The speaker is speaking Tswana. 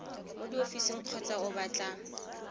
mo diofising kgotsa o batla